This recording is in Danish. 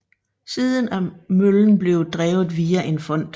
Siden er møllen blevet drevet via en fond